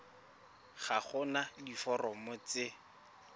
ga go na diforomo tse